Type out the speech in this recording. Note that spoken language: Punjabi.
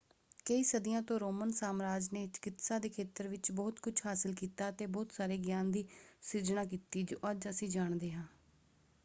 ਕਈ ਸਦੀਆਂ ਤੋਂ ਰੋਮਨ ਸਾਮਰਾਜ ਨੇ ਚਿਕਿਤਸਾ ਦੇ ਖੇਤਰ ਵਿੱਚ ਬਹੁਤ ਕੁਝ ਹਾਸਲ ਕੀਤਾ ਅਤੇ ਬਹੁਤ ਸਾਰੇ ਗਿਆਨ ਦੀ ਸਿਰਜਣਾ ਕੀਤੀ ਜੋ ਅੱਜ ਅਸੀਂ ਜਾਣਦੇ ਹਾਂ।